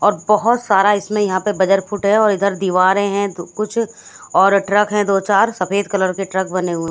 और बहुत सारा इसमें यहां पे बजर फुट है और इधर दीवारें हैं तो कुछ और ट्रक हैं दो चार सफेद कलर के ट्रक बने हुए--